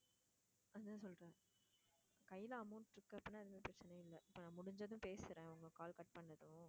அதான் சொல்றேன் கையில amount இருக்கு அப்படின்னா எதுவுமே பிரச்சனையே இல்ல இப்போ நான் முடிஞ்சதும் பேசுறேன் உங்க call cut பண்ணதும்